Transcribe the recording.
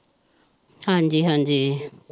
ਹਾਜੀ ਹਾਜੀ।